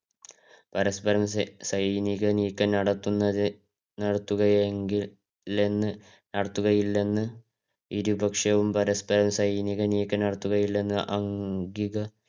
പരസ്പരം സൈനിക നീക്കം നടത്തുന്നത് നടത്തുകയെങ്കില് നടത്തുകയില്ലെന്ന് ഇരുപക്ഷവും പരസ്പരം സൈനിക നീക്കം നടത്തുകയില്ലെന്ന് അംഗീക